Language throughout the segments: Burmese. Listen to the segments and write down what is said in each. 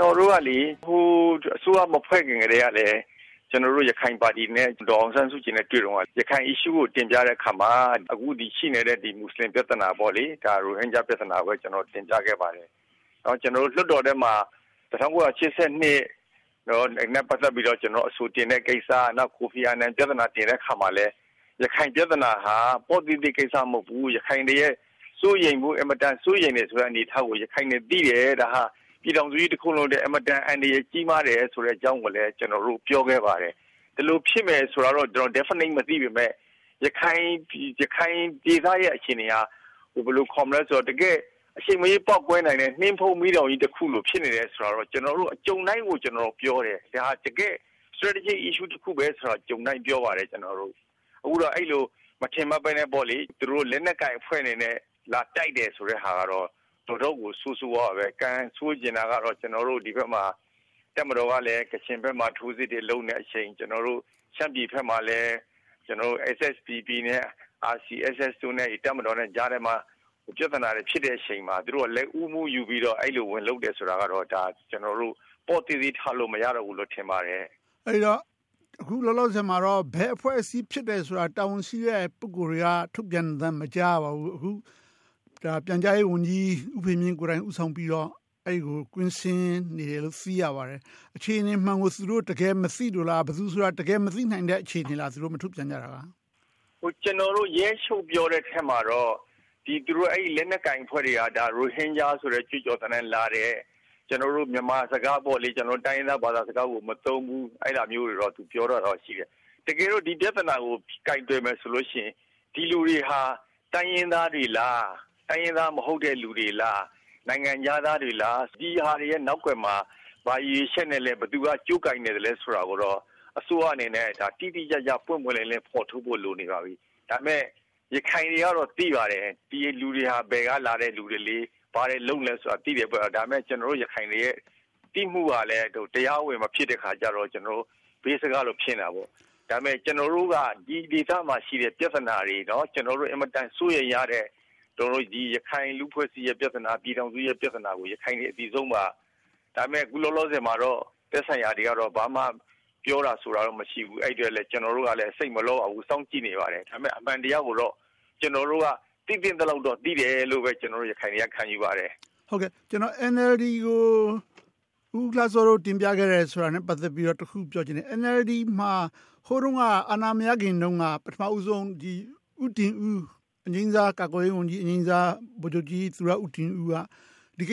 နော်တို့က အစိုးရမဖွဲ့ခင်ကတည်းက ရခိုင်ပါတီနဲ့ ဒေါ်အောင်ဆန်းစုကြည်နဲ့ တွေ့တုန်းက ရခိုင် issue ကို တင်ပြတဲ့အခါမှာ အခု ရှိနေတဲ့ မူစလင်ပြဿနာ၊ ရိုဟင်ဂျာပြဿနာကို တင်ပြခဲ့ပါတယ်။ ကျနော်တို့ လွှတ်တော်ထဲမှာ ၁၉၈၂ နဲ့ ပတ်သက်ပြီး အဆိုတင်တဲ့ကိစ္စ၊ ကိုဖီအာနန် တင်တဲ့အခါမှာလဲ ရခိုင်ပြဿနာဟာ ပေါ့သေးသေးကိစ္စ မဟုတ်ဘူး။ ရခိုင်တွေအဖို့ အင်မတန် စိုးရိမ်ရတဲ့ အနေအထားကို ရခိုင်တွေ သိတယ်။ ဒါဟာ ပြည်ထောင်စုကြီးတခုလုံးအတွက် အင်မတန် အန္တရာယ် ကြီးမားတယ်ဆိုတဲ့ အကြောင်းကိုလည်း ကျနော်တို့ ပြောခဲ့ပါတယ်။ ဒီလို ဖြစ်မယ်ဆိုတာကို Definite မသိပေမယ့် ရခိုင်ဒေသရဲ့ အခြေအနေဟာ အချိန်မရွေး ပေါက်ကွဲနိုင်တယ်။ နှင်းဖုံးမီးတောင်ကြီးတခုလို ဖြစ်နေတယ်ဆိုတာကို ကြုံတိုင်းကို ကျနော် ပြောတယ်။ ဒါဟာ တကယ့် Strategic Issue တခုဆိုတာကို ကြုံတိုင်းပြောပါတယ်။ အခုတော့ အဲဒီလို မထင်မှတ်ဘဲနဲ့ သူတို့ လက်နက်ကိုင်အဖွဲ့အနေနဲ့ လာတိုက်တယ်ဆိုတာကတော့ တော်တော်ကို ဆိုးဆိုးဝါးဝါး။ ကံဆိုးချင်တာကတော့ ဒီဘက်မှာ တပ်မတော်က ကချင်ဘက်မှာ ထိုးစစ်တွေလုပ်နေတဲ့အချိန်။ ကျနော်တို့ ရှမ်းပြည်ဘက်မှာလည်း SSDP နဲ့ RCSS တို့နဲ့ တပ်မတော်ကြားထဲမှာ ပြဿနာတွေ ဖြစ်တဲ့အချိန်မှာ သူတို့က လက်ဦးမှုယူပြီး အဲဒီလို ဝင်လုပ်တယ်ဆိုတာကတော့ ဒါကို ပေါ့သေးသေးထားလို့ မရတော့ဘူးလို့ ထင်ပါတယ်။ အဲဒီတော့ အခုလောလောဆယ်မှာတော့ ဘယ်အဖွဲ့အစည်းဖြစ်တယ်ဆိုတာကို တာဝန်ရှိတဲ့သူတွေက ထုတ်ပြန်သံ မကြားရပါဘူး။ အခု ပြန်ကြားရေးဝန်ကြီး ဦးဖေမြင့်ကိုယ်တိုင် ဦးဆောင်ပြီးတော့ အဲဒီကို ကွင်းဆင်းနေတယ်လို့ သိရပါတယ်။ အခြေအနေမှန်ကို သူတို့ မသိလို့လား။ ဘယ်သူဆိုတာ တကယ်မသိနိုင်တဲ့ အခြေအနေလား။ သူတို့ မထုတ်ပြန်နိုင်တာ။ ကျနော်တို့ ရဲချုပ်ပြောတဲ့အထဲမှာတော့ လက်နက်ကိုင်အဖွဲ့တွေက ရိုဟင်ဂျာဆိုတဲ့ ကြွေးကြော်သံနဲ့လာတယ်။ ကျနော်တို့ မြန်မာစကား၊ တိုင်းရင်းသားဘာသာစကားကို မသုံးဘူး။ အဲဒါမျိုးတွေတော့ ပြောတာရှိတယ်။ တကယ်တော့ ဒီပြဿနာကို ကိုင်တွယ်မယ်ဆိုလို့ရှိရင် ဒီလူတွေဟာ တိုင်းရင်းသားတွေလား။ တိုင်းရင်းသားမဟုတ်တဲ့ လူတွေလား။ နိုင်ငံခြားသားတွေလား။ ဒီဟာတွေရဲ့ နောက်ကွယ်မှာ ဘာရည်ရွယ်ချက်နဲ့လဲ။ ဘယ်သူက ကြိုးကိုင်နေသလဲ ဆိုတာကိုတော့ အစိုးရအနေနဲ့ တိတိကျကျ၊ ပွင့်ပွင့်လင်းလင်း ဖော်ထုတ်ဖို့ လိုနေပါပြီ။ ဒါပေမဲ့ ရခိုင်တွေကတော့ သိပါတယ်။ ဒီလူတွေက ဘယ်ကလာတဲ့လူတွေ။ ဘာတွေလုပ်နေလဲဆိုတာ သိတယ်။ ဒါပေမဲ့ ကျနော်တို့ရခိုင်တွေရဲ့ သိမှုကလဲ တရားဝင် မဖြစ်တဲ့အခါကြတော့ ဘေးစကားလို ဖြစ်နေတာပေါ့။ ဒါပေမဲ့ ကျနော်တို့က ဒီဒေသမှာရှိတဲ့ ပြဿနာတွေ၊ အင်မတန် စိုးရိမ်ရတဲ့ ရခိုင်လူ့အဖွဲ့အစည်းရဲ့ ပြဿနာ၊ ပြည်ထောင်စုရဲ့ ပြဿနာကို ရခိုင်တွေ အသိဆုံးပါ။ ဒါပေမဲ့ အခုလောလောဆယ်မှာတော့ သက်ဆိုင်ရာတွေက ဘာမှပြောတာ၊ ဆိုတာ မရှိဘူး။ အဲဒီအတွက် ကျနော်တို့က စိတ်မလောပါဘူး။ စောင့်ကြည့်နေပါတယ်။ ဒါပေမဲ့ အမှန်တရားကိုတော့ ကျနော်တို့က သိသင့်သလောက်တော့ သိတယ်လို့ ရခိုင်တွေက ခံယူပါတယ်။ NLD ကို ဦးလှစောတို့ တင်ပြခဲ့တာနဲ့ ပတ်သက်ပြီးတော့ တခုပြောချင်တယ်။ NLD မှာ ဟိုတုန်းက အာဏာမရခင်တုန်းက ပထမဦးဆုံး ဦးတင်ဦး သူရဦးတင်ဦး က ဒီ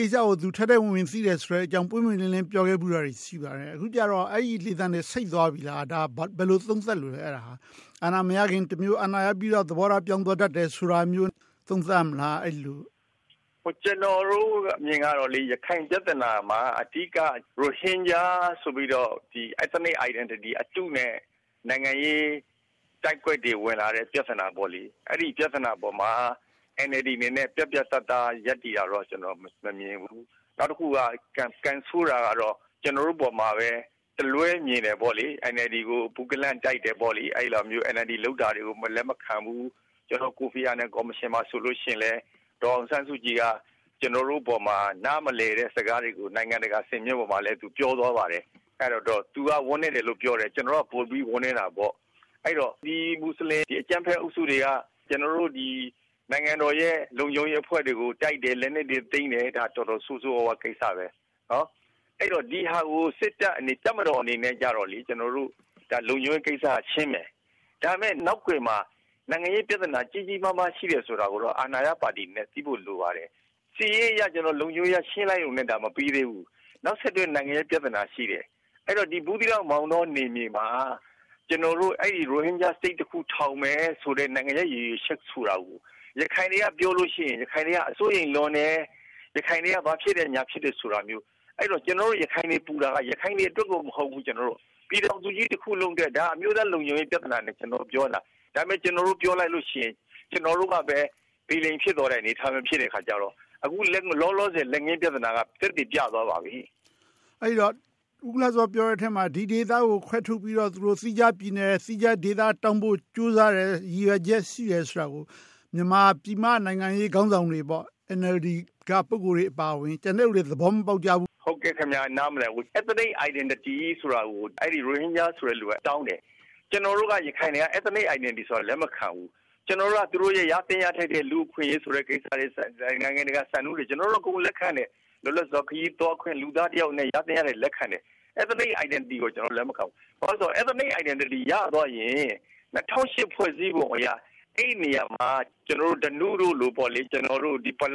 ကိစ္စကို သူ ထဲထဲဝင်ဝင် သိတယ်ဆိုတဲ့အကြောင်း ပွင့်ပွင့်လင်းလင်း ပြောခဲ့ဖူးတာတွေ ရှိပါတယ်။ အခုကြတော့ အဲဒီလေသံတွေ ဆိတ်သွားပြီလား။ အဲဒါကို ဘယ်လို သုံးသပ်လိုလဲ။ အာဏာမရခင် တမျိုး။ အာဏာရပြီးတော့ သဘောထား ပြောင်းသွားတတ်တယ်ဆိုတာမျိုး သုံးသပ်မလား။ အဲဒီလို။ ကျနော်တို့အမြင်ကတော့ ရခိုင်ပြဿနာမှာ အဓိက ရိုဟင်ဂျာ ဆိုပြီးတော့ Ethnic Identity အတုနဲ့ နိုင်ငံရေး တိုက်ကွက်တွေ ဝင်လာတဲ့ ပြဿနာပေါ့။ အဲဒီ ပြဿနာအပေါ်မှာ NLD အနေနဲ့ ပြတ်ပြတ်သားသား ရပ်တည်တာတော့ မမြင်ဘူး။ နောက်တခုက ကံဆိုးတာကတော့ ကျနော်အပေါ်ကိုပဲ တလွဲမြင်တယ်။ NLD ကို ဘု့ကန့်လန့်တိုက်တယ်။ NLD လုပ်တာတွေကို လက်မခံဘူး။ ကိုဖီအာနန် ကော်မရှင်မှာဆိုရင်လဲ ဒေါ်အောင်ဆန်းစုကြည် က ကျနော်တို့အပေါ်မှာ နားမလည်တဲ့ စကားတွေကို နိုင်ငံတကာ စင်မြင့်တွေပေါ်မှာလည်း ပြောသွားပါတယ်။ သူက ဝမ်းနည်းတယ်လို့ ပြောတယ်။ ကျနော်တို့က ပိုပြီးဝမ်းနည်းတာပေါ့။ ဒီမူစလင် အကြမ်းဖက်အုပ်စုတွေက ကျနော်တို့ နိုင်ငံတော်ရဲ့ လုံခြုံရေးအဖွဲ့တွေကို တိုက်တယ်။ လက်နက်တွေ သိမ်းတယ်။ ဒါ တော်တော်ဆိုးဆိုးဝါးဝါး ကိစ္စ။ အဲဒီတော့ ဒီဟာကို တပ်မတော်အနေနဲ့ လုံခြုံရေးကိစ္စက ရှင်းတယ်။ ဒါပေမဲ့ နောက်ကွယ်မှာ နိုင်ငံရေးပြဿနာ ကြီးကြီးမားမား ရှိတယ်ဆိုတာကိုတော့ အာဏာရပါတီအနေနဲ့ သိဖို့လိုပါတယ်။ စစ်ရေးအရ၊ လုံခြုံရေးအရ ရှင်းလိုက်တာနဲ့ မပြီသေးဘူး။ နောက်ဆက်တွဲ နိုင်ငံရေးပြဿနာ ရှိတယ်။ အဲဒီတော့ ဘူးသီးတောင်၊ မောင်တော်မမှာ ကျနော်တို့ အဲဒီ ရိုဟင်ဂျာပြည်နယ်တခု ထောင်မယ်ဆိုတဲ့ နိုင်ငံရေး ရည်ရွယ်ချက်ကို ရခိုင်တွေက ပြောလို့ရှိရင် ရခိုင်တွေက စိုးရိမ်လွန်၊ ရခိုင်တွေ ဘာဖြစ်တယ်၊ ညာဖြစ်တယ်ဆိုတာမျိုး။ အဲဒီတော့ ကျနော်တို့ ရခိုင်တွေ ပူတာက ရခိုင်တွေအတွက် မဟုတ်ဘူး။ ပြည်ထောင်စုကြီးတခုလုံးအတွက်။ ဒါ အမျိုးသားလုံခြုံရေး ပြဿနာအနေနဲ့ ပြောနေတယ်။ ဒါပေမဲ့ ကျနော်တို့ ပြောလိုက်လို့ရှိရင် ကျနော်တို့ကပဲ ဗီလိန် ဖြစ်သွားတဲ့ အနေအထားမျိုးဆိုတော့ အခုလောလောဆယ် လက်ငင်းပြဿနာက သက်သေပြသွားပါပြီ။ အဲဒီတော့ ဦးလှစော ပြောတဲ့အထဲမှာ ဒီဒေသကို ခွဲထုတ်ပြီးတော့ သီးခြားပြည်နယ်၊ သီးခြားဒေသ တောင်းဖို့ ကြိုးစားတယ်။ ရည်ရွယ်ချက် ရှိတယ်ဆိုတာကို မြန်မာပြည်မက နိုင်ငံရေးခေါင်းဆောင်တွေ NLD က ပုဂ္ဂိုလ်တွေ အပါအဝင်၊ ကျန်တဲ့လူတွေ သဘောမပေါက်ကြဘူး။ ဟုတ်ကဲ့.. နာမလည်ကြဘူး။ Ethnic Identity ဆိုတာကို ရိုဟင်ဂျာ ဆိုတဲ့လူက တောင်းတယ်။ ကျနော်တို့ ရခိုင်တွေက Ethnic Identity ဆိုတာကို လက်မခံဘူး။ ကျနော်တို့က သူတို့ ရသင့်ရထိုက်တဲ့ လူ့အခွင့်အရေးတွေ၊ နိုင်ငံတကာစံနှုန်းတွေ ကျနော်တို့က အကုန် လက်ခံတယ်။ လွတ်လပ်စွာ ခရီးသွားခွင့်။ လူသားတယောက်အနေနဲ့ ရသင့်ရထိုက်တာတွေကို လက်ခံတယ်။ Ethnic Identity ကို လက်မခံဘူး။ ဘာဖြစ်လို့လဲဆိုတော့ Ethnic Identity ရသွားရင် ၂၀၀၈ ဖွဲ့စည်းပုံအရ အဲဒီနေရာမှာ ဓနုတို့လို၊ ပ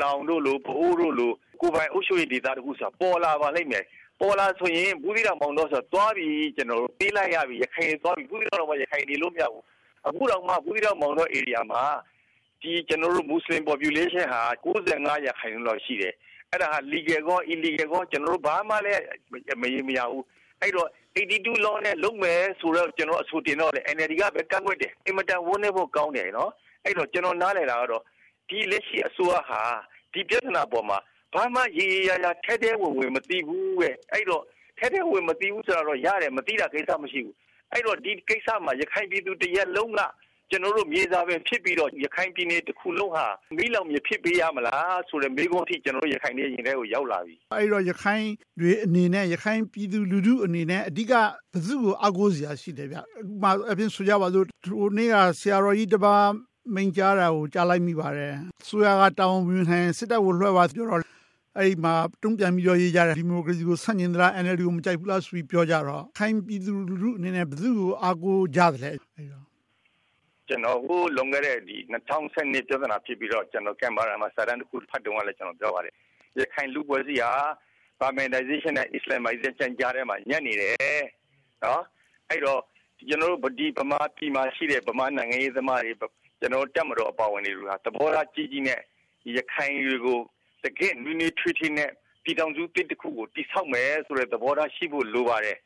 လောင်၊ ပအို့ဝ် တို့လို ကိုယ်ပိုင်အုပ်ချုပ်ရေးတခုဆိုတာ ပေါ်လာပါလိမ့်မယ်။ ပေါ်လာခဲ့ရင် ဘူးသီးတောင်၊ မောင်တော်ဆိုတာ သွားပြီ။ ပေးလိုက်ရပြီ ရခိုင်တွေ ဘူးသီးတောင်မှာ နေလို့မရဘူး။ အခုတောင်မှ ဘူးသီးတောင်၊ မောင်တော်မှာ မူစလင် population ဟာ ၉၅ ရာခိုင်နှုန်းလောက် ရှိတယ်။ အဲဒါက Legal and Unlegal ရှိတယ်။ ဘာမှ မရေရာဘူး။ အဲဒီတော့ law နဲ့ လုပ်မယ်ဆိုပြီး အဆိုတင်တော့ NLD က ကန့်ကွက်တယ်။ အင်မတန် ဝမ်းနည်းဖို့ကောင်းတယ်။ အဲဒီတော့ ကျနော် နားလည်တာကတော့ လက်ရှိ အစိုးရဟာ ဒီပြဿနာပေါ်မှာ ဘာမှရေရောရာရာ၊ ထဲထဲဝင်ဝင် မသိဘူး။ ထဲထဲဝင်ဝင် မသိဘူးဆိုတာတော့ ရတယ်။ မသိတာ ကိစ္စမရှိဘူး။ အဲဒီတော့ ဒီကိစ္စမှာ ရခိုင်ပြည်သူ တရပ်လုံးက မြေစာပင် ဖြစ်ပြီးတော့ ရခိုင်ပြည်နယ်တခုလုံးဟာ မီးလောင်ပြင် ဖြစ်ပေးရမလားဆိုတဲ့ မေးခွန်းအထိ ကျနော်တို့ ရခိုင်တွေရဲ့ ရင်ထဲကို ရောက်လာပြီ။ အဲဒီတော့ ရခိုင်တွေအနေနဲ့ ရခိုင်လူထုအနေနဲ့ အဓိက ဘယ်သူကို အားကိုးစရာ ရှိလဲ။ ဥပမာအားဖြင့်ဆိုကြပါစို့ ဟိုတနေ့က ဆရာတော်ကြီးတပါး မိန့်ကြားတာကို ကြားလိုက်မိပါတယ်။ အစိုးရက တာဝန်မယူနိုင်ရင် စစ်တပ်ကို လွှဲပါပြောတော့ အဲဒီမှာ တုံ့ပြန်ပြီးတော့ ရေးကြတယ်။ ဒီမိုကရေစီကို ဆန့်ကျင်လား။ NLD ကို မကြိုက်ဘူးလား ပြောကြတော့ ရခိုင်ပြည်သူလူထုအနေနဲ့ ဘယ်သူကို အားကိုးကြသလဲ။ ကျနော် ဟိုလွန်ခဲ့တဲ့ ၂၀၁၂ ပြဿနာဖြစ်ပြီးတော့ ကျနော် ကမ်ဘာရာမှာ စာတမ်းတခု ဖတ်တုန်းကလဲ ပြောပါတယ်။ ရခိုင်လူ့အဖွဲ့အစည်းဟာ Burmanization နဲ့ Islamization ကြားထဲမှာ ညှပ်နေတယ်။ အဲဒီတော့ ကျနော်တို့ ဗမာပြည်မှာရှိတဲ့ ဗမာနိုင်ငံရေးသမားတွေ၊ တပ်မတော်အပါအဝင်တွေဟာ သဘောထားကြီးကြီးနဲ့ ရခိုင်တွေကို တကယ့်နွေးနွေးထွေးထွေးနဲ့ ပြည်ထောင်စုသစ်တခုကို တည်ဆောက်မယ်ဆိုတဲ့ သဘောထားရှိဖို့ လိုပါတယ်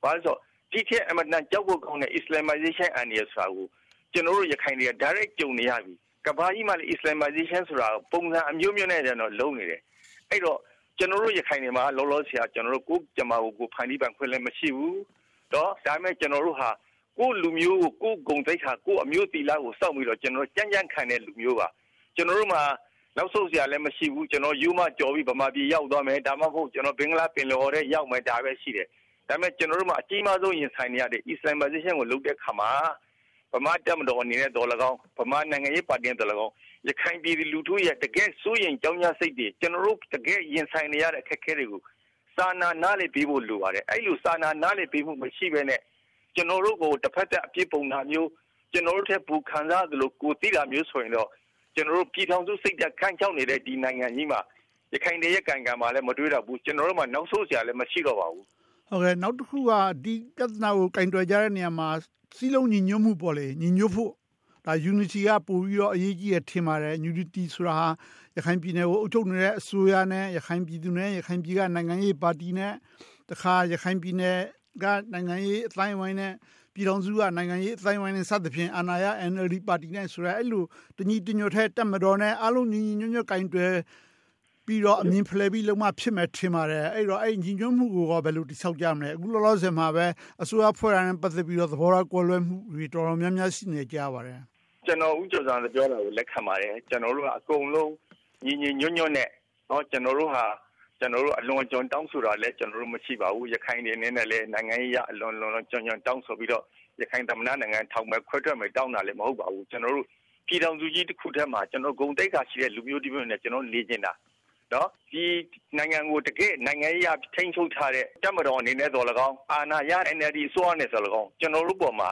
။ ဘာဖြစ်လို့လဲဆိုတော့ ဒီထက် အင်မတန်ကြောက်ဖို့ကောင်းတဲ့ Islamization အန္တရာယ်ကို ကျနော်တို့ ရခိုင်တွေက Direct ကြုံနေရပြီ။ ကမ္ဘာကြီးမှာလည်း Islamization ဆိုတာ ပုံစံအမျိုးမျိုးနဲ့ လုပ်နေတယ်။ အဲဒီတော့ ကျနော်တို့ ရခိုင်တွေမှာ လောလောဆယ် ကိုယ့်ကြမ္မာကို ကိုယ်ဖန်တီးပိုင်ခွင့်လည်း မရှိဘူး။ ဒါပေမဲ့ ကျနော်တို့ဟာ ကိုယ့်လူမျိုး ကိုယ်ဂုဏ်သိက္ခာ၊ ကိုယ့်အမျိုးသီလကို စောင့်ပြီးတော့ ကြံ့ကြံ့ခံတဲ့ လူမျိုးပါ။ ကျနော်တို့မှာ နောက်ဆုတ်စရာလဲ မရှိဘူး။ ရိုးမကျော်ပြီး ဗမာပြည်ရောက်သွားမယ်။ ဒါမှမဟုတ် ဘင်္ဂလားပင်လယ်အော်ထဲ ရောက်သွားမယ် ရှိတယ်။ ဒါပေမဲ့ ကျနော်တို့မှာ အကြီးမားဆုံး ရင်ဆိုင်နေရတယ့် Islamization ကို လုပ်တဲ့အခါမှာ ဗမာတပ်မတော်အနေနဲ့သော်လည်းကောင်း၊ ဗမာနိုင်ငံရေးပါတီအနေနဲ့သော်လည်းကောင်း ရခိုင်ပြည်သူလူထုရဲ့ တကယ့် စိုးရိမ်ကြောင့်ကြစိတ်တွေ၊ တကယ့် ရင်ဆိုင်နေရတဲ့ အခက်အခဲတွေကို စာနာ နားလည်ပေးဖို့ လိုပါတယ်။ အဲဒီလို စာနာ နားလည်ပေးဖို့ မရှိဘဲနဲ့ ကျနော်တို့ကို တဘက်သတ် အပြစ်ပုံတာမျိုး၊ ကျနော်တို့ထက် ပိုခံစားရသလို ကိုယ်သိတာမျိုးဆိုရင်တော့ ပြည်ထောင်စုစိတ်ဓါတ် ခမ်းခြောက်နေတဲ့ ဒီနိုင်ငံကြီးမှာ ရခိုင်တွေရဲ့ ကံကြမ္မာလည်း မတွေးတတ်ဘူး။ ကျနော်တို့မှာ နောက်ဆုတ်စရာလည်း မရှိတော့ပါဘူး။ နောက်တခုက ဒီပြဿနာကို ကိုင်တွယ်ကြတဲ့နေရာမှာ စည်းလုံးညီညွှတ်မှု၊ ညီညွှတ်ဖို့ Unity က ပိုပြီး အရေးကြီးတယ် ထင်ပါတယ်။ Unity ဆိုတာ ရခိုင်ပြည်နယ်ကို အုပ်ချုပ်နေတဲ့ အစိုးရနဲ့ ရခိုင်ပြည်သူနဲ့ ရခိုင်ပြည်က နိုင်ငံရေးပါတီနဲ့ တခါ ရခိုင်ပြည်နယ်က နိုင်ငံရေး အသိုင်းအဝိုင်းနဲ့ ပြည်ထောင်စုအစိုးရ နိုင်ငံရေးအသိုင်းအဝိုင်းနဲ့ စသည်ဖြင့် အာဏာရပါတီ NLD နဲ့ တပ်မတော်နဲ့ တညီတညွှတ်တည်း၊ ညီညီညွှတ်ညွှတ် ကိုင်တွယ်ပြီးလုပ်မှ ဖြစ်မယ် ထင်ပါတယ်။ အဲဒီ ညီညွှတ်မှုကို ဘယ်လို တည်ဆောက်ကြမလဲ။ အခုလောလောဆယ်မှာပဲ အစိုးရဖွဲ့တာနဲ့ ပတ်သက်ပြီး သဘောထား ကွဲလွဲမှုတွေ တော်တော်များများ ရှိနေတယ် ကြားရပါတယ်။ ကျနော် ဦးကျော်ဇံသာ ပြောတာကို လက်ခံပါတယ်။ ကျနော်တို့ အကုန်လုံး ညီညီညွတ်ညွတ်နဲ့ ကျနေ်ာတို့ အလွန်အကျွံ တောင်းဆိုတာလဲ မရှိပါဘူး။ ရခိုင်တွေအနေနဲ့ နိုင်ငံရေးအရ လွန်လွန်ကျွံကျွံ တောင်းဆိုပြီးတော့ ရခိုင်သမ္မတနိုင်ငံ ထောင်မယ်။ ခွဲထွက်မယ် တောင်းတာလဲ မဟုတ်ပါဘူး။ ပြည်ထောင်စုကြီး တခုထဲမှာ ဂုဏ်သိက္ခာရှိတဲ့ လူမျိုးတမျိုးအနေနဲ့ နေချင်တာ။ ဒီနိုင်ငံကို နိုင်ငံရေးအရ ထိန်းချုပ်ထားတဲ့ တပ်မတော်အနေနဲ့သော်လည်းကောင်း၊ အာဏာရ NLD အစိုးရအနေနဲ့သော်လည်းကောင်း ကျနော်တို့အပေါ်မှာ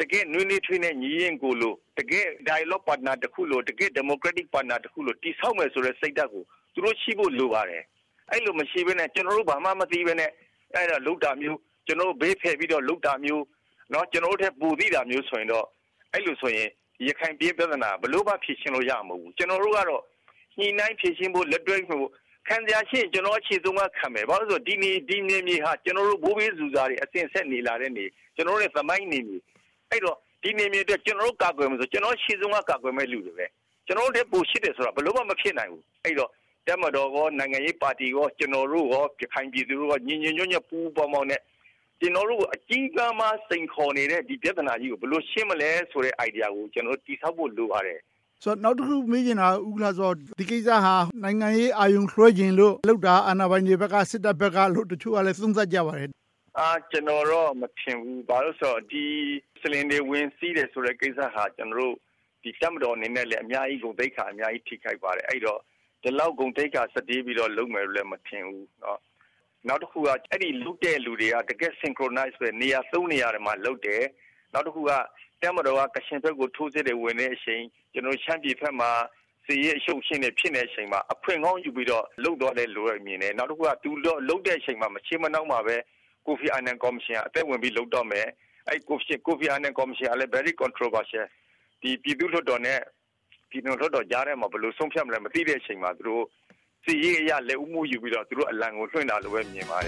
တကယ့် နွေးနွေးထွေးထွေးနဲ့ ညီအရင်းကို၊ တကယ့် Dialogue Partner တခုလို၊ တကယ့် Democratic Partner တခုလို တည်ဆောက်မယ်ဆိုတဲ့ စိတ်ဓါတ်ကို သူတို့ ရှိဖို့ လိုပါတယ်။ အဲဒီလို မရှိဘဲနဲ့ ကျနော်တို့ ဘာမှမသိဘဲနဲ့ လုပ်တာမျိုး။ ကျနော်တို့ကို ဘေးဖယ်ပြီးတော့ လုပ်တာမျိုး၊ ကျနော်တို့ထက် ပိုသိတာမျိုးဆိုရင် ရခိုင်ပြည်ရဲ့ ပြဿနာက ဘယ်လိုမှ ဖြေရှင်းလို့ရမှာ မဟုတ်ဘူး။ ကျနော်တို့ကတော့ ညှိနှိုင်းဖြေရှင်းဖို့ လက်တွဲဖို့။ ခံစရာရှိလျှင် ကျနော်တို့ ရှေ့ဆုံးက ခံမယ်။ ဘာဖြစ်လို့လဲဆိုတော့ ဒီနယ်မြေဟာ ကျနော်တို့ ဘိုးဘေးတွေ အစဉ်အဆက်နေလာခဲ့တယ်။ ကျနော်တို့ရဲ့ သမိုင်းနယ်မြေ။ အဲဒီတော့ ဒီနယ်မြေအတွက် ကျနော်တို့ ကာကွယ်ဖို့ ရှေ့ဆုံးက ကာကွယ်မယ့် လူတွေ။ ကျနော်တို့ထက် ပိုချစ်တယ်ဆိုတာ ဘယ်လိုမှ မဖြစ်နိုင်ဘူး။ အဲဒီတော့ တပ်မတော်၊ နိုင်ငံရေးပါတီ၊ ကျနော်တို့ ရခိုင်ပြည်သူတွေ ညီညီညွတ်ညွှတ်နဲ့ ပူးပေါင်းပြီး ကျနော်တို့ကို အကြီးမားဆုံး စိန်ခေါ်နေတဲ့ ဒီပြဿနာကြီးကို ဘယ်လို ရှင်းမလဲဆိုတဲ့ Idea ကို တည်ဆောက်ဖို့ လိုပါတယ်။ နောက်တခု မေးချင်တာက ဒီကိစ္စဟာ နိုင်ငံရေး အာရုံလွှဲချင်လို့ လုပ်တာ၊ အာဏာပိုင်တွေဘက်က၊ စစ်တပ်ဘက်က လုပ်တာလို့ တချို့က သုံးသပ်ကြပါတယ်။ ကျနော်တော့ မထင်ဘူး။ ဘာဖြစ်လို့လဲဆိုတော့ မူစလင်တွေ ဝင်စီးတယ်ဆိုတဲ့ ကိစ္စဟာ ကျနော်တို့ တပ်မတော်အနေနဲ့လဲ အများကြီး ဂုဏ်သိက္ခာ ထိခိုက်ပါတယ်။ အဲဒီတော့ ဒီလောက် ဂုဏ်သိက္ခာ စတေးပြီးတော့ လုပ်မယ်လို့ မထင်ဘူး။ နောက်တခုက အဲဒီ လုပ်တဲ့လူတွေက Synchronize နေရာမှာ လုပ်တယ်။ နောက်တခုက တပ်မတော်က ကချင်ဘက်ကို ထိုးစစ်ဝင်နေတဲ့အချိန်၊ ရှမ်းပြည်ဘက်မှာ စစ်ရေး အရှုပ်အရှင်းတွေ ဖြစ်နေတဲ့အချိန်မှာ အခွင့်ကောင်းယူပြီးတော့ လုပ်သွားတယ်လို့ မြင်တယ်။ နောက် သူတို့ လုပ်တဲ့အချိန် မရှေးမနှောင်းမှာပဲ ကိုဖီအာနန်ကော်မရှင်က အသက်ဝင်ပြီး လုပ်တော့မယ်။ အဲဒီ ကိုဖီအာနန်ကော်မရှင်ကလည်း Very Controversy - ပြည်သူ့လွှတ်တော်နဲ့ ပြည်နယ်လွှတ်တော်ကြားထဲမှာ ဘယ်လို ဆုံးဖြတ်မယ်ဆိုတာ မသိတဲ့အချိန်မှာ စစ်ရေးအရ လက်ဦးမှုယူပြီးတော့ သူတို့အလံကို လွှင့်တာလို့ပဲ မြင်ပါတယ